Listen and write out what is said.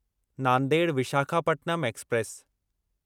Nanded Visakhapatnam express